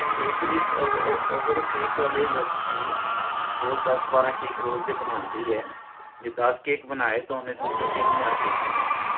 ਬਿਲਕੁਲ ਇੱਕ ਅਹ ਅਹ ਅਗਰ ਓਹ cake ਵਾਲੇ ਲੜਕੀ suppose ਦਸ ਬਾਰਹ cake ਰੋਜ ਦੇ ਬਣਾਂਦੀ ਹੈ ਜੇ ਦਸ cake ਬਣਾਏ ਤਹ ਸਮਝੋ ਤੀਨ ਹਜ਼ਾਰ ਬਨਾਤਾਂ